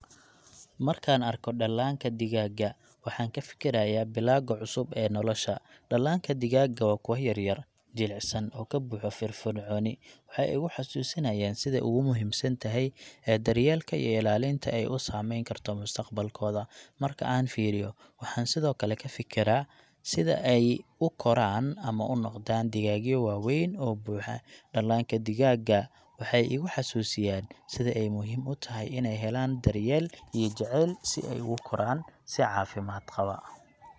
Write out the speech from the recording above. Markaan arko dhallaanka digaaga, waxaan ka fakarayaa bilowga cusub ee nolosha. Dhallaanka digaaga waa kuwo yar yar, jilicsan, oo ka buuxo firfircooni. Waxay igu xusuusinayaan sida ugu muhiimsan tahay daryeelka iyo ilaalinta ay u saameyn karto mustaqbalkooda. Marka aan fiiriyo, waxaan sidoo kale ka fekeraa sida ay u koraan ama u noqdaan digaagyo waaweyn oo buuxa. Dhallaanka digaaga waxay iga xusuusinayaan sida ay muhiim u tahay inay helaan daryeel iyo jacayl si ay ugu koraan si caafimaad qaba.